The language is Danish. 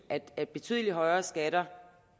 at betydelig højere skatter